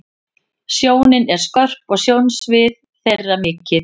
Sjónin er skörp og sjónsvið þeirra mikið.